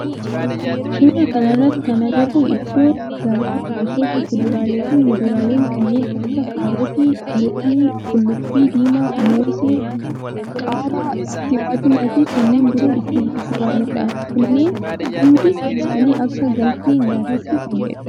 Suuraa kana irratti kan agarru iddoo gabaa gosoota kuduraalee fi muduraaleen kanneen akka kaarootii, loomii, qullubbii diimaa, moosee, qaaraa, timaatima fi kanneen biroo itti gurguramudha. Kunneen hundi isaanii akka galtee nyaatatti fayyadu.